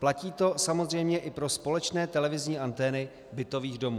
Platí to samozřejmě i pro společné televizní antény bytových domů.